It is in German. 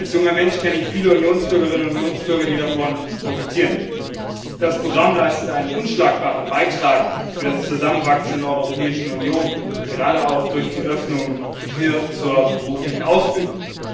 Als junger Mensch kenne ich viele Unionsbürgerinnen und Unionsbürger, die davon profitieren. Das Programm leistet einen unschlagbaren Beitrag für das Zusammenwachsen in der Europäischen Union, gerade auch durch die Öffnung hin zur beruflichen Ausbildung.